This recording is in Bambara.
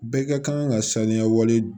Bɛɛ ka kan ka saniya wale